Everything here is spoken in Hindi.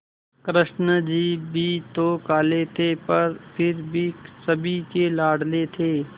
कृष्ण जी भी तो काले थे पर फिर भी सभी के लाडले थे